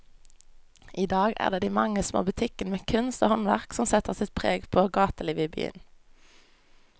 I dag er det de mange små butikkene med kunst og håndverk som setter sitt preg på gatelivet i byen.